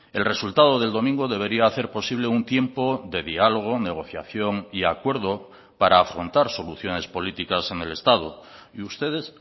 el resultado del domingo debería hacer posible un tiempo de diálogo negociación y acuerdo para afrontar soluciones políticas en el estado y ustedes